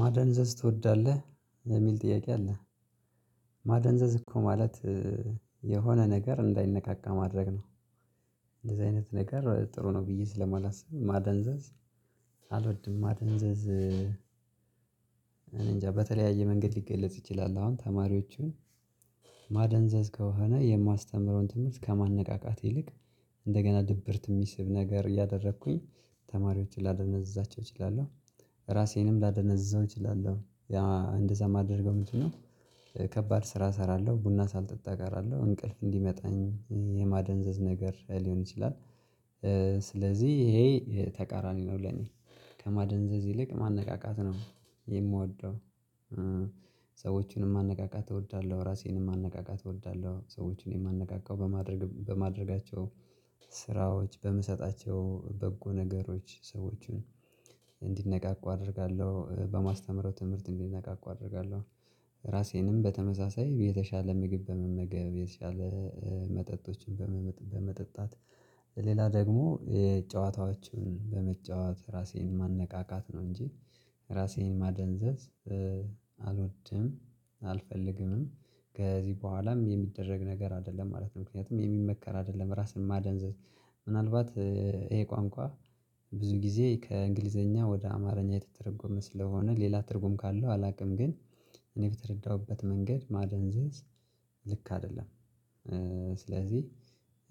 ማደንዘዝ ትወዳለህ የሚል ጥያቄ አለ። ማደንዘዝ እኮ ማለት የሆነ ነገር እንዳይነቃቃ ማድረግ ነው። እንደዚህ አይነት ነገር ጥሩ ነው ብዬ ስለማላስብ ማደንዘዝ። አልወድም ማደንዘዝ። እኔንጃ በተለያየ መንገድ ሊገለጽ ይችላል። አሁን ተማሪዎቹን ማደንዘዝ ከሆነ የማስተምረውን ትምህርት ከማነቃቃት ይልቅ እንደገና ድብርት የሚስብ ነገር እያደረኩኝ ተማሪዎችን ላደነዛቸው እችላለሁ። ራሴንም ላደነዘዘው እችላለሁ። እንደዛ የማደርገው ምንድነው? ከባድ ስራ እሰራለሁ ቡና ሳልጠጣ ቀራለሁ እንቅልፍ እንዲመጣኝ የማደንዘዝ ነገር ሊሆን ይችላል። ስለዚህ ይሄ ተቃራኒ ነው ለኔ ከማደንዘዝ ይልቅ ማነቃቃት ነው የምወደው። ሰዎቹንም ማነቃቃት እወዳለሁ ራሴንም ማነቃቃት እወዳለሁ። ሰዎችን የማነቃቃው በማድረግ በማድረጋቸው ስራዎች በምሰጣቸው በጎ ነገሮች ሰዎችን እንዲነቃቁ አደርጋለሁ በማስተምረው ትምህርት እንዲነቃቁ አደርጋለሁ። ራሴንም በተመሳሳይ የተሻለ ምግብ በመመገብ የተሻለ መጠጦችን በመጠጣት ሌላ ደግሞ የጨዋታዎችን በመጫወት ራሴን ማነቃቃት ነው እንጂ ራሴን ማደንዘዝ። አልወድም አልፈልግምም ከዚህ በኋላም የሚደረግ ነገር አይደለም ማለት ነው። ምክንያቱም የሚመከር አይደለም ራስን ማደንዘዝ። ምናልባት ይሄ ቋንቋ ብዙ ጊዜ ከእንግሊዘኛ ወደ አማርኛ የተተረጎመ ስለሆነ ሌላ ትርጉም ካለው አላውቅም። ግን እኔ በተረዳውበት መንገድ ማደንዘዝ ልክ አይደለም። ስለዚህ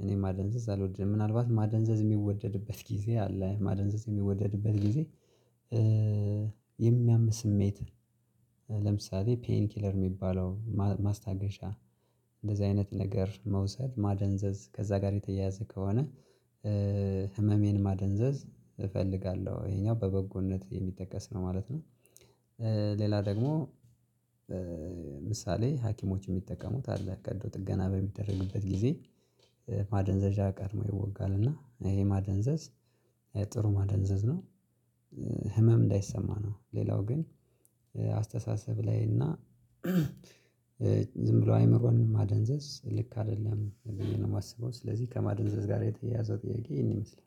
እኔ ማደንዘዝ አልወድም። ምናልባት ማደንዘዝ የሚወደድበት ጊዜ አለ። ማደንዘዝ የሚወደድበት ጊዜ። የሚያም ስሜት ለምሳሌ ፔይን ኪለር የሚባለው ማስታገሻ። እንደዚህ አይነት ነገር መውሰድ ማደንዘዝ ከዛ ጋር የተያያዘ ከሆነ። ህመሜን ማደንዘዝ እፈልጋለሁ ይሄኛው በበጎነት የሚጠቀስ ነው ማለት ነው። ሌላ ደግሞ ምሳሌ ሀኪሞች የሚጠቀሙት አለ። ቀዶ ጥገና በሚደረግበት ጊዜ ማደንዘዣ ቀድሞ ይወጋል። እና ይሄ ማደንዘዝ ጥሩ ማደንዘዝ ነው። ህመም እንዳይሰማ ነው። ሌላው ግን አስተሳሰብ ላይ እና ዝም ብሎ አይምሮን ማደንዘዝ ልክ አይደለም ብዬ ነው የማስበው። ስለዚህ ከማደንዘዝ ጋር የተያያዘው ጥያቄ ይሄን ይመስላል።